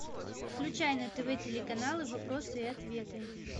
включай на тв телеканалы вопросы и ответы